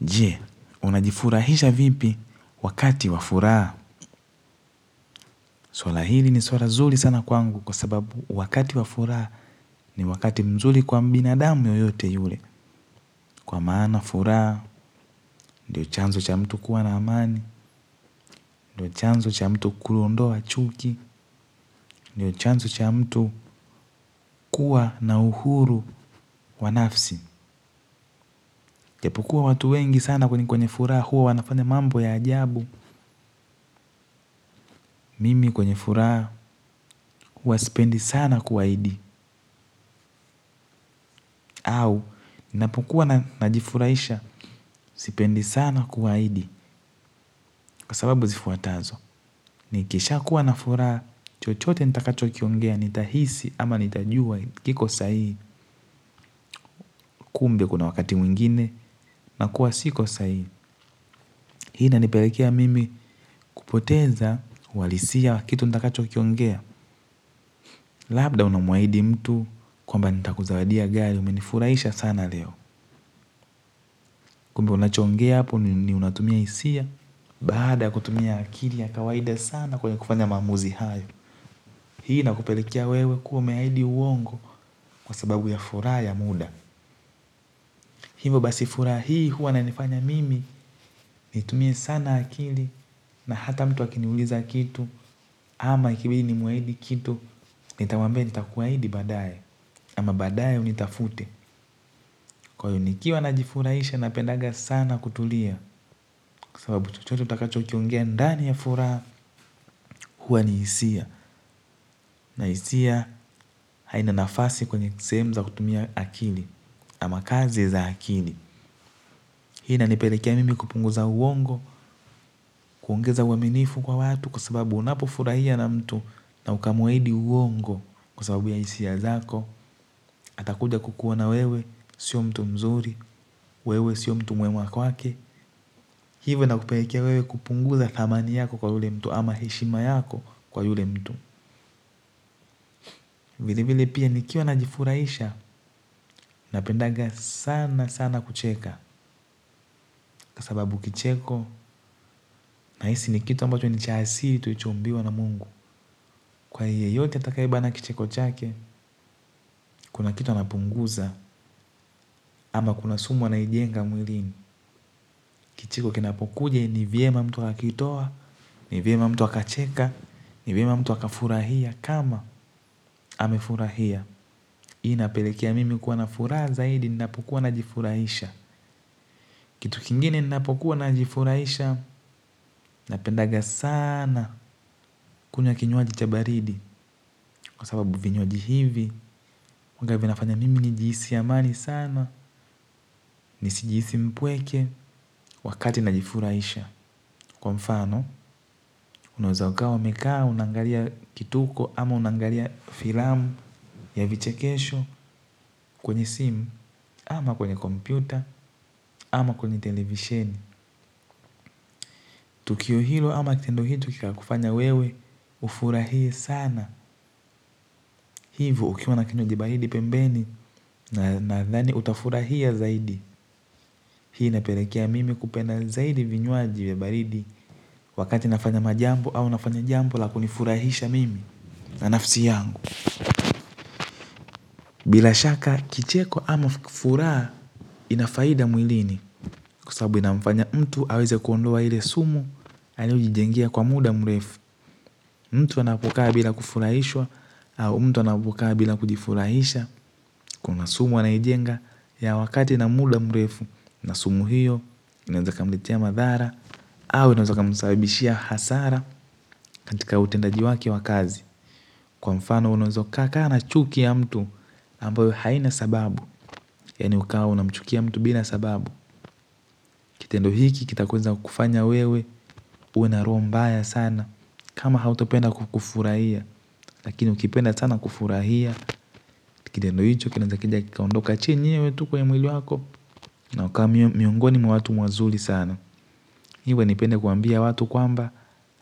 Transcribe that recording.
Je, unajifurahisha vipi wakati wa furaha. Suala hili ni suala zuri sana kwangu kwa sababu wakati wafuraha ni wakati mzuri kwa binadamu yoyote yule. Kwa maana wa furaha, ndio chanzo cha mtu kuwa na amani, ndio chanzo cha mtu kuondoa chuki, ndio chanzo cha mtu kuwa na uhuru wa nafsi. Japu kuwa watu wengi sana kwenye furaha huwa wanafanya mambo ya ajabu. Mimi kwenye furaha huwa sipendi sana kuahidi au ninapokua najifurahisha sipendi sana kuahidi. Kwa sababu zifuatazo nikisha kuwa na furaha chochote nitakacho kiongea nita hisi ama nitajua kiko sahihi kumbe kuna wakati mwingine na kuwa siko sahihi hii inanipelekea mimi kupoteza uhalisia wa kitu nitakacho kiongea. Labda unamuahidi mtu kwamba nitakuzawadia gari umenifuraisha sana leo. Kumbe unacho ongea hapo ni unatumia hisia. Baada kutumia akili ya kawaida sana kwenye kufanya maamuzi hayo. Hii inakupelekea wewe kuwa umeahidi uongo kwa sababu ya furaha ya muda. Hivo basi furaha hii huwa ina nifanya mimi nitumie sana akili na hata mtu akiniuliza kitu ama ikibidi nimuahidi kitu. Nitawambia nitakuwahidi baadaye ama baadaye unitafute. Kwa hivyo nikiwa najifurahisha napendanga sana kutulia kwa sababu chochote utakacho kiongea ndani ya furaha hua ni hisia na hisia haina nafasi kwenye sehemu za kutumia akili ama kazi za akili hii ina nipelekea mimi kupunguza uongo kuongeza uamenifu kwa watu kwa sababu unapufurahia na mtu na ukamuahidi uongo kwa sababu ya hisia zako atakuja kukuona wewe sio mtu mzuri wewe sio mtu mwema kwake hivyo na kupelekea wewe kupunguza thamani yako kwa ule mtu ama heshima yako kwa yule mtu. Vile vile pia nikiwa najifurahisha, napendanga sana sana kucheka. Kwa sababu kicheko na hisi ni kitu ambacho ni cha asili tuliichoumbiwa na mungu. Kwa yoyote atakayebana kicheko chake, kuna kitu anapunguza. Ama kuna sumu anaijenga mwilini. Kicheko kinapokuja ni vyema mtu akitoa, ni vyema mtu akacheka, ni vyema mtu akafurahia. Kama amefurahia hii inapelekea mimi kuwa na furaha zaidi ninapokuwa na jifurahisha. Kitu kingine ninapo kuwa na jifuraisha, napendanga sana kunywa kinyuwaji cha baridi. Kwa sababu vinyuwaji hivi, huanga vinafanya mimi ni jihisi amani sana, nisi jihisi mpweke wakati na jifuraisha. Kwa mfano, unawaza ukawa umekaa, unangalia kituko ama unangalia filamu ya vichekesho kwenye simu ama kwenye kompyuta, ama kwenye televisheni. Tukio hilo ama kitendo hichi kika kufanya wewe, ufurahie sana. Hivo ukiwa na kinywaji baridi pembeni nadhani utafurahia zaidi. Hii inapelekea mimi kupendea zaidi vinywaji vya baridi wakati nafanya majambo au nafanya jambo la kunifurahisha mimi na nafsi yangu. Bila shaka kicheko ama furaha ina faida mwilini kwa sababu inamfanya mtu aweze kuondoa ile sumu aliyojijengia kwa muda mrefu. Mtu anapokaa bila kufurahishwa, au mtu anapokaa bila kujifurahisha, kuna sumu ainajenga ya wakati na muda mrefu, na sumu hiyo, inaeza ika mletea madhara, au inaweza ika msababishia hasara katika utendaji wake wa kazi. Kwa mfano una weza uka kaa na chuki ya mtu ambayo haina sababu yaani ukawa unamchukia mtu bila sababu kitendo hiki kitakweza kufanya wewe uwe na roho mbaya sana. Kama hauto penda kufurahia. Lakini ukipenda sana kufurahia kitendo hicho kinaweza kija kuondoka tu chenyewe kwa mwili wako na ukawa miongoni ma watu wazuri sana. Iwe nipende kuambia watu kwamba